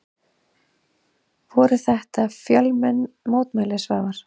Voru þetta fjölmenn mótmæli Svavar?